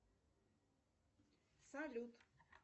салют